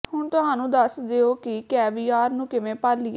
ਹੁਣ ਤੁਹਾਨੂੰ ਦੱਸ ਦਿਓ ਕਿ ਕੈਵੀਆਰ ਨੂੰ ਕਿਵੇਂ ਭਾਲੀਏ